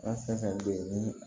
An fɛn fɛn bɛ yen ni